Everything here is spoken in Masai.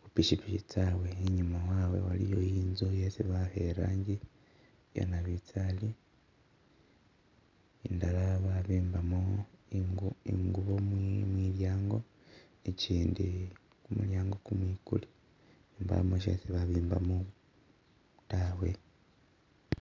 khupikipiki tsawe i'nyuma, wawe, waliyo i'nzu isi bawakha e'rangi yanabinzali i'ndala babimbamo I i'ngubo mulyango, I'chindi kumulyango kumwikule, mbamo shesi babimbamo taawe